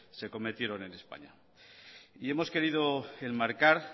se cometieron en españa y hemos querido enmarcar